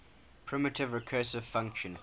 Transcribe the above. primitive recursive function